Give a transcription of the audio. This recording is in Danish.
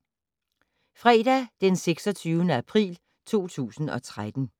Fredag d. 26. april 2013